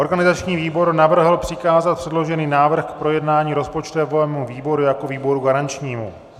Organizační výbor navrhl přikázat předložený návrh k projednání rozpočtovému výboru jako výboru garančnímu.